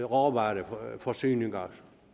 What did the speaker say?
råvareforsyninger